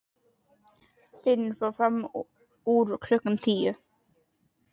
Finnur fór fram úr klukkan tíu.